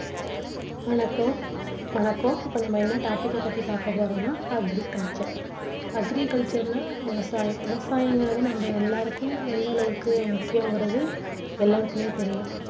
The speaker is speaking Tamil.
வணக்கம் வணக்கம் இப்போ நம்ம என்ன topic க பத்தி பாக்கப்போறம்னா agriculture agriculture னா விவசாயம் விவசாயங்கிறது நம்ம எல்லோருக்கும் எந்த அளவுக்கு முக்கியங்கிறது எல்லாருக்குமே தெரியும்